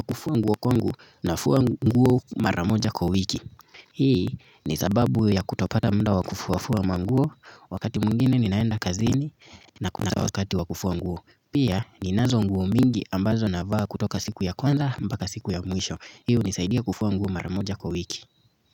Kufua nguo kwangu nafua nguo mara moja kwa wiki hii ni sababu ya kutopata muda wa kufuafua manguo wakati mwingine ninaenda kazini na kuna wakati wa kufua nguo pia ninazo nguo mingi ambazo navaa kutoka siku ya kwanza mpaka siku ya mwisho hii hunisaidia kufua nguo mara moja kwa wiki.